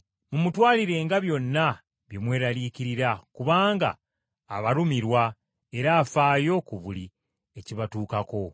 Mumutwalirenga byonna bye mweraliikirira kubanga abalumirwa era afaayo ku buli ekibatuukako.